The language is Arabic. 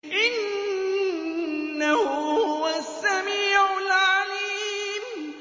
إِنَّهُ هُوَ السَّمِيعُ الْعَلِيمُ